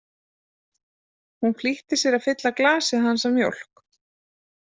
Hún flýtti sér að fylla glasið hans af mjólk.